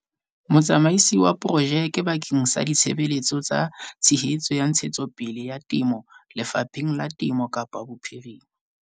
Motsamaisi wa Porojeke bakeng sa Ditshebeletso tsa Tshehetso ya Ntshetsopele ya Temo Lefapheng la Temo Kapa Bophirima.